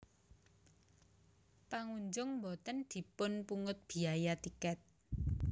Pangunjung boten dipun pungut biyaya tiket